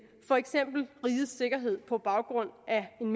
for eksempel rigets sikkerhed på baggrund af en